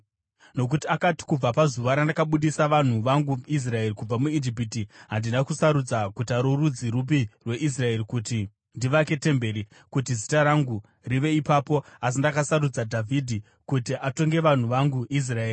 Nokuti akati, ‘Kubvira pazuva randakabudisa vanhu vangu Israeri kubva muIjipiti, handina kusarudza guta rorudzi rupi rweIsraeri kuti ndivake temberi, kuti Zita rangu rive ipapo, asi ndakasarudza Dhavhidhi kuti atonge vanhu vangu Israeri.’